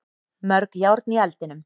Mörg járn í eldinum